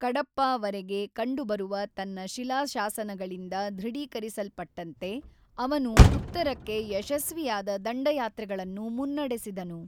ಕಡಪ್ಪಾ ವರೆಗೆ ಕಂಡುಬರುವ ತನ್ನ ಶಿಲಾಶಾಸನಗಳಿಂದ ದೃಢೀಕರಿಸಲ್ಪಟ್ಟಂತೆ, ಅವನು ಉತ್ತರಕ್ಕೆ ಯಶಸ್ವಿಯಾದ ದಂಡಯಾತ್ರೆಗಳನ್ನು ಮುನ್ನಡೆಸಿದನು.